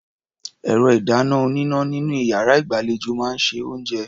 Ẹ̀rọ-ìdáná-oníná nínú iyàrá ìgbàlejò máa ń se oúnjẹ.